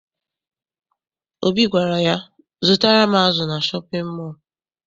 Obi gwara ya, zụtara m azụ na shọpịn mọọ!